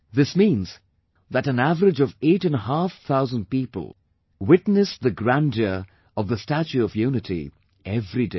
This means that an average of eight and a half thousand people witnessed the grandeur of the 'Statue of Unity' every day